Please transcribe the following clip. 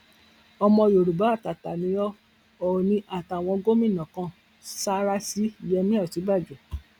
ọmọ yorùbá àtàtà ni ó òòní àtàwọn gómìnà kan sáárá sí yẹmi òsínbàjò